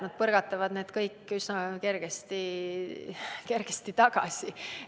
Nad põrgatavad need kõik üsna kergesti tagasi.